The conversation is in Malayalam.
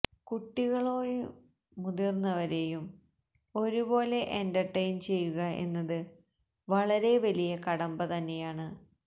കുട്ടികളോയും മുതിർന്നവരേയും ഒരുപോലെ എന്റർടെയ്ൻ ചെയ്യുക എന്നത് വളരെ വലിയ കടമ്പ തന്നെയാണ്